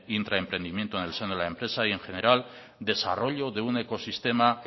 intraemprendimiento en el seno de la empresa y en general desarrollo de un ecosistema